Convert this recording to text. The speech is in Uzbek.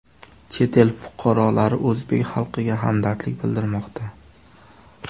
Chet el fuqarolari o‘zbek xalqiga hamdardlik bildirmoqda .